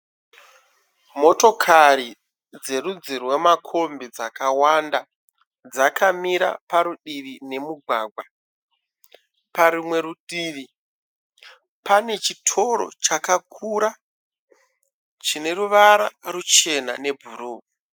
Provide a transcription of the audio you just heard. Motokari dzerudzi rwemakombi dzakawanda dzakamira parudivi nemugwagwa. Parumwe rutivi pane chitoro chakakura chine ruvara ruchena nebhuruu.